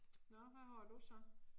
Nåh hvad har du så